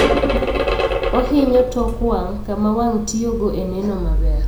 Ohinyo tok wang' kama wang' tiyo go e neno maber